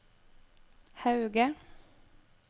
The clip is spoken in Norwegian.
Hauge